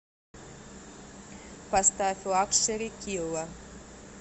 поставь лакшери килла